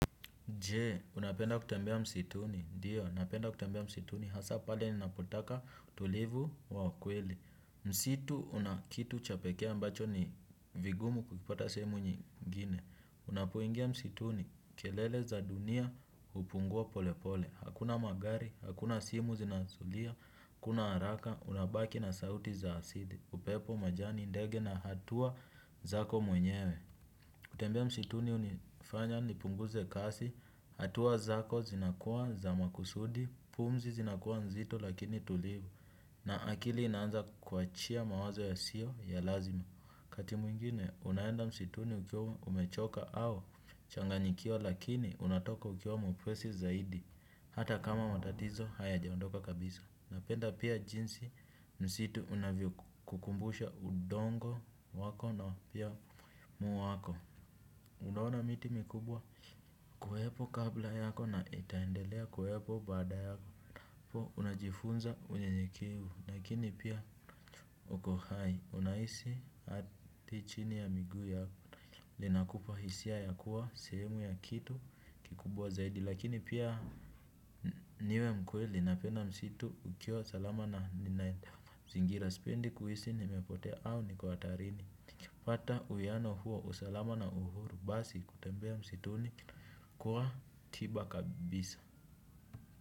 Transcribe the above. Je unapenda kutembea msituni ndio napenda kutembea msituni hasaa pale ninapotaka utulivu wa kweli. Msitu una kitu cha pekee ambacho ni vigumu kuvipata sehemu nyingine. Unapoingia msituni kelele za dunia hupungua pole pole. Hakuna magari hakuna simu zinazolia hakuna haraka unabaki na sauti za asili upepo majani ndege na hatua zako mwenyewe. Kutembea msituni hunifanya nipunguze kasi hatua zako zinakuwa za makusudi pumzi zinakuwa nzito lakini tulivu na akili inanza kuachia mawazo yasiyo ya lazima. Kati mwingine unaenda msituni ukiwa umechoka au changanyikiwa lakini unatoka ukiwa mwepesi zaidi hata kama matatizo hayajaondoka kabisa. Napenda pia jinsi msitu unavyo kukumbusha udogo wako na pia umuhimu wako. Unaona miti mikubwa kuepo kabla yako na itaendelea kuepo baada yako. Po unajifunza unyenyekevu lakini pia unajua uko hai unahisi ardhi chini ya miguu yako nahilo linakupa hisia ya kuwa semu ya kitu kikubwa zaidi. Lakini pia niwe mkweli napenda msitu ukiwa salama na ninaenda mazingira sipendi kuhisi nimepotea au niko hatarini. Fata uyano huo usalama na uhuru basi kutembea msituni kwa tiba kabisa.